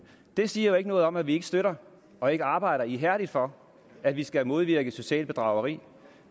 det siger jo ikke noget om at vi ikke støtter og ikke arbejder ihærdigt for at vi skal modvirke socialt bedrageri